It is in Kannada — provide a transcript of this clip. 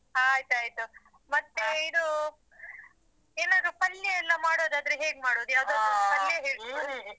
ಹ ಆಯ್ತು ಆಯ್ತು ಮತ್ತೆ ಇದೂ ಏನಾದ್ರೂ ಪಲ್ಯ ಎಲ್ಲ ಮಾಡುದಾದ್ರೆ ಹೇಗ್ ಮಾಡೋದು ಯಾವುದಾದ್ರು ಪಲ್ಯ ಹೇಳ್ಕೊಡಿ